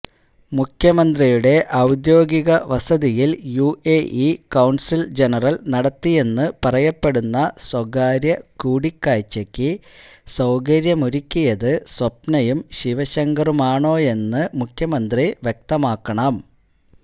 മുഖ്യമന്ത്രിയുടെ ഔദ്യോഗിക വസതിയിൽ യുഎഇ കോൺസൽ ജനറൽ നടത്തിയെന്ന് പറയപ്പെടുന്നസ്വകാര്യ കൂടിക്കാഴ്ചയ്ക്ക് സൌകര്യമൊരുക്കിയത് സ്വപ്നയും ശിവശങ്കറുമാണോയെന്ന് മുഖ്യമന്ത്രി വ്യക്തമാക്കണം